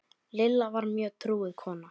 Lilla var mjög trúuð kona.